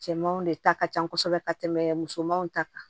Cɛmanw de ta ka ca kosɛbɛ ka tɛmɛ musomanw ta kan